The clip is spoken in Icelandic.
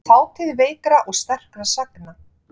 Þátíð veikra og sterkra sagna.